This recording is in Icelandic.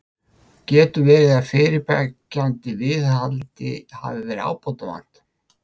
Getur verið að fyrirbyggjandi viðhaldi hafi verið ábótavant?